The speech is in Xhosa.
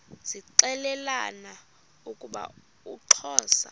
zixelelana ukuba uxhosa